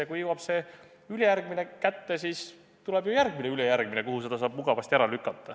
Ja kui kätte jõuab see ülejärgmine, siis tuleb ju järgmine ülejärgmine, kuhu selle saab mugavasti eest lükata.